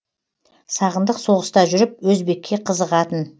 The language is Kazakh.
сағындық соғыста жүріп өзбекке қызығатын